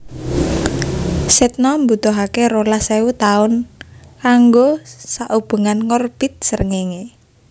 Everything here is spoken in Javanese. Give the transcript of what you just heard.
Sedna mbutuhaké rolas ewu taun kanggo saubengan ngorbit Srengéngé